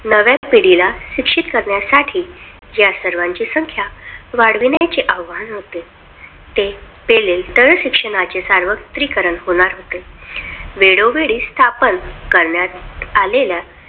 नव्या पिढीला शिक्षित करण्यासाठी या सर्वांची संख्या वाढविण्याचे आवाहन होते. ते केले तर शिक्षणाचे सार्वत्रिकरण होते. वेळोवेळी स्थापन करण्यात आलेल्या